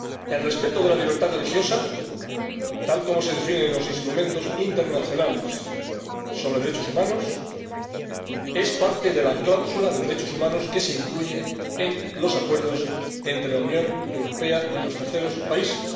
El respeto de la libertad religiosa, tal como se define en los instrumentos internacionales sobre derechos humanos, es parte de la cláusula de derechos humanos que se incluye en los acuerdos entre la Unión Europea y los terceros países.